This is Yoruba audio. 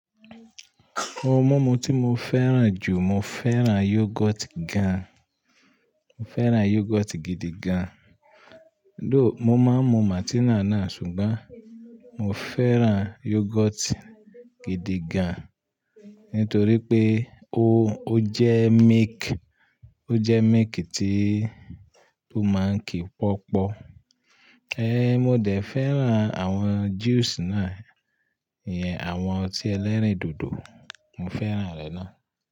Ohun mímu tí mo fẹ́ràn jù, mo fẹ́ràn yoghurt gan. Mo fẹ́ràn yoghurt gidi gan. Dó, mo máa ń mu Martina náà ṣùgbọ́n mo fẹ́ràn yoghurt gidi gan nítorí pé ó, ó jẹ́ milk, ó jẹ́ milk tí ó máa ń kí pọ́pọ̀. Ehn, mo dẹ̀ fẹ́ràn àwọn juice náà, ìyẹn àwọn ọtí ẹlẹ́rìndòdò, mo fẹ́ràn rẹ̀ náà.